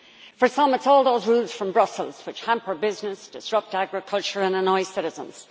For some, it is all those rules from Brussels which hamper business, disrupt agriculture and annoy citizens